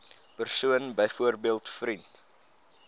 persoon byvoorbeeld vriend